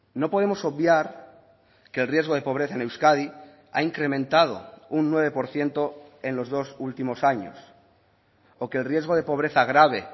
no podemos obviar que el riesgo de pobreza en euskadi ha incrementado un nueve por ciento en los dos últimos años o que el riesgo de pobreza grave